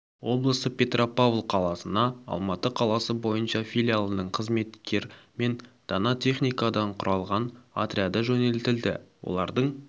облысы петропавл қаласына алматы қаласы бойынша филиалының қызметкер мен дана техникадан құралған отряды жөнелтілді олардың